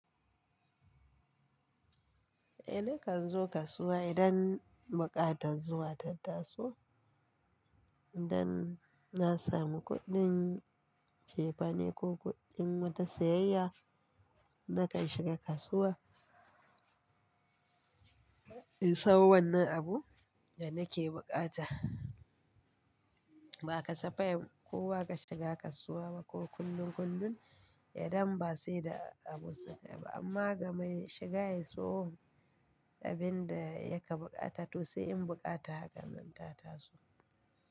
Eh nakan zo kasuwa idan buƙatar zuwa ta taso, idan na samu kuɗin cefane ko kuɗin wata sayayya nakan shiga kasuwa in sawo wannan abun da nake bukata. Ba ka safai ba kowa ka shiga kasuwa ba ko kullum kullum idan ba sai da abu suke yi ba amma gamai shiga ya siyo abin da ya ka bukata to sai in bukata hakanan ta taso.